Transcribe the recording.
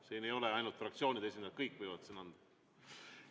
Siin ei ole ainult fraktsioonide esindajad, kõik võivad anda.